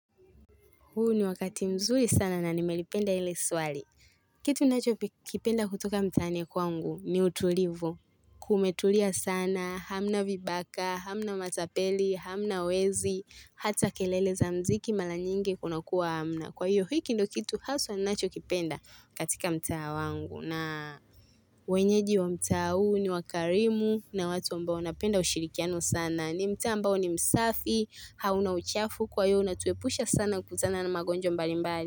Huu ni wakati mzuri sana na nimelipenda hili swali. Kitu ninachokipenda kutoka mtaani kwangu ni utulivu. Kumetulia sana, hamna vibaka, hamna matapeli, hamna wezi, hata kelele za mziki mara nyingi kuna kuwa hamna. Kwa hiyo hiki ndo kitu haswa ninachokipenda katika mtaa wangu. Na wenyeji wa mtaa huu ni wakarimu na watu ambao wanapenda ushirikiano sana. Na ni mtaa ambao ni msafi hauna uchafu kwa hiyo unatuepusha sana kukutana na magonjwa mbali mbali.